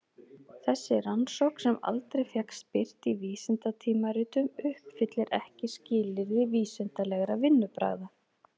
Þessi rannsókn sem aldrei fékkst birt í vísindatímaritum uppfyllir ekki skilyrði vísindalegra vinnubragða.